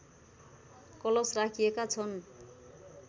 कलश राखिएका छन्